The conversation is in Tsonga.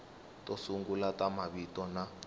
to sungula ta mavito na